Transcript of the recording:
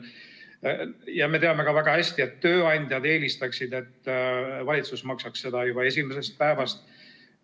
Ja me teame väga hästi, et ka tööandjad eelistaksid, et valitsus maksaks hüvitist juba esimesest päevast alates.